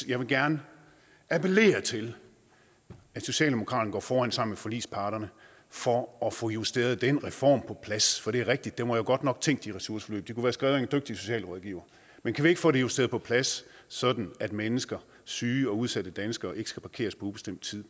jeg vil gerne appellere til at socialdemokraterne går foran sammen med forligsparterne for at få justeret den reform på plads for det er rigtigt den var jo godt nok tænkt i ressourceforløb den været skrevet af en dygtig socialrådgiver men kan vi ikke få det justeret på plads sådan at mennesker syge og udsatte danskere ikke skal parkeres på ubestemt tid